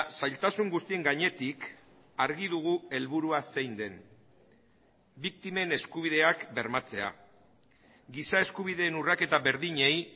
zailtasun guztien gainetik argi dugu helburua zein den biktimen eskubideak bermatzea giza eskubideen urraketa berdinei